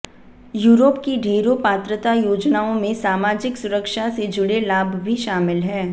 Europe की ढेरों पात्रता योजनाओं में सामाजिक सुरक्षा से जुड़े लाभ भी शामिल हैं